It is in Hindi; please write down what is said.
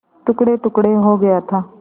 टुकड़ेटुकड़े हो गया था